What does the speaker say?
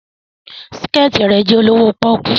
Her skirt is very cheap